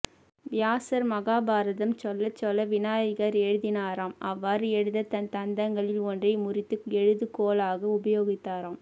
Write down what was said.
வியாசர் மஹாபாரதம் சொல்லச் சொல்ல விநாயகர் எழுதினாராம் அவ்வாறு எழுத தன் தந்தங்களில் ஒன்றை முறித்து எழுது கோலாக உபயோகித்தாராம்